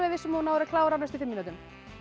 viss um að þú náir að klára á næstu fimm mínútum